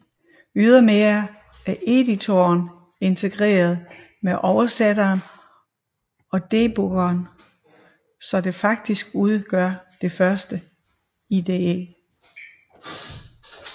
Ydermere er editoren integreret med oversætteren og debuggeren så det faktisk udgør den første IDE